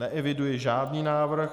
Neeviduji žádný návrh.